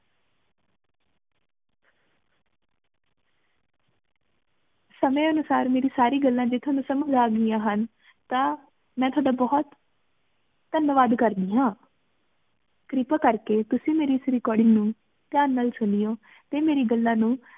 ਸਮੇ ਅਨੁਸਾਰ ਮੇਰੀ ਸਾਰੀ ਗੱਲਾਂ ਜੇ ਤੁਹਾਨੂ ਸਮਜ ਲਾਗ ਗਿਯਾਂ ਹਨ ਤਾਂ ਮੇਂ ਤੁਹਾਡਾ ਬੋਹਤ ਧੰਨਵਾਦ ਕਰਦੀ ਹਾਂ। ਕਿਰਪਾ ਕਰ ਕ ਤੁਸੀਂ ਮੇਰੀ ਏਸ recording ਨੂ ਧਿਆਨ ਨਾਲ ਸੁਨਯੋ ਟੀ ਮੇਰੀ ਗੱਲਾਂ ਨੂ